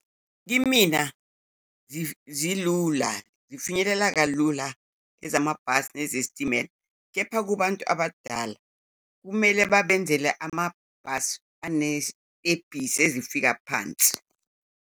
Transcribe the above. Kimina zilula, zifinyelele kalula ezamabhasi nezesitimela, kepha kubantu abadala kumele babenzele amabhasi anezitebhisi ezifika phansi.